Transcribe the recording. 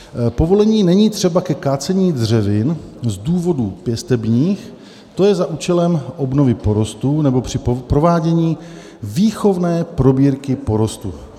"Povolení není třeba ke kácení dřevin z důvodů pěstebních, to je za účelem obnovy porostů nebo při provádění výchovné probírky porostů."